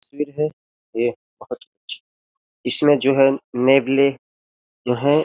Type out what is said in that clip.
तस्वीर है ये बहोत इसमें जो है नेवले जो हैं --